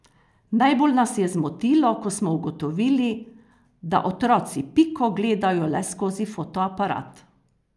Najbolj nas je zmotilo, ko smo ugotovili, da otroci Piko gledajo le skozi fotoaparat.